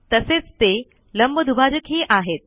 तसेच ते लंबदुभाजकही आहेत